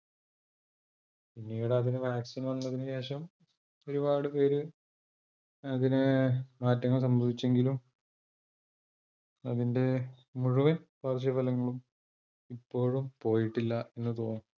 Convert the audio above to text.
പിന്നീട് അതിന് vaccine വന്നതിനു ശേഷം ഒരുപാട് പേര് അതിന് മാറ്റങ്ങൾ സംഭവിച്ചെങ്കിലും അതിന്റെ മുഴുവൻ പാർശ്വഫലങ്ങളും ഇപ്പോഴും പോയിട്ടില്ല എന്ന് തോന്നൂ.